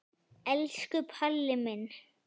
Elsku Palli minn.